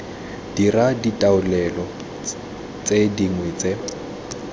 dira ditaolelo tse dingwe tse